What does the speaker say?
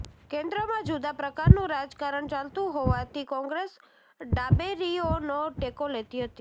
કેન્દ્રમાં જુદા પ્રકારનું રાજકારણ ચાલતું હોવાથી કોંગ્રેસ ડાબેરીઓનો ટેકો લેતી હતી